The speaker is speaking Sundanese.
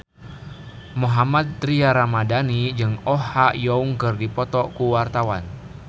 Mohammad Tria Ramadhani jeung Oh Ha Young keur dipoto ku wartawan